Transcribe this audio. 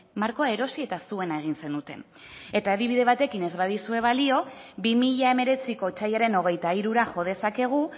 markoa erosi eta zuena egin zenuten eta adibide batekin ez badizue balio bi mila hemeretziko otsailaren hogeita hirura jo dezakegu